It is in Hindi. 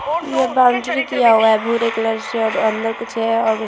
ये बॉउंड्री किया हुआ है भूरे कलर से और अंदर कुछ है ।